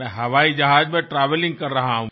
मैं हवाई जहाज में ट्रैवेलिंग कर रहा हूँ